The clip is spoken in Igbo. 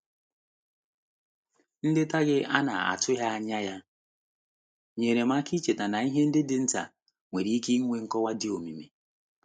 Nleta gị ana-atụghị anya ya nyeere m aka icheta na ihe ndi dị nta nwere ike nwee nkọwa di omimi.